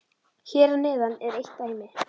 Hér að neðan er eitt dæmi: